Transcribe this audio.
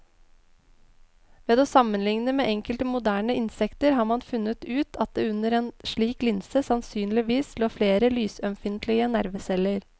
Ved å sammenligne med enkelte moderne insekter har man funnet ut at det under en slik linse sannsynligvis lå flere lysømfintlige nerveceller.